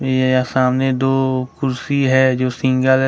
यह सामने दो कुर्सी है जो सिंगल --